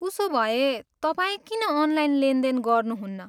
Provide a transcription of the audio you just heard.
उसोभए, तपाईँ किन अनलाइन लेनदेन गर्नुहुन्न?